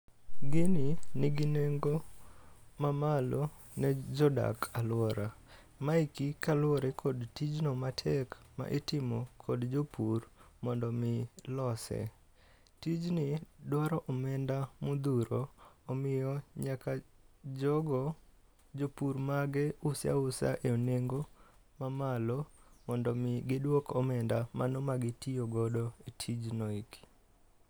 Gini nigi nengo mamalo ne jodak alwora. Maeki kaluwore kod tijno matek ma itimo kod jopur mondo mi lose. Tijni dwaro omenda modhuro, omiyo nyaka jogo, jopur mage use ausa e nengo mamalo mondomi giduok omenda mano ma gitiyogodo e tijno eki.